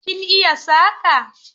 Kin iya saƙa?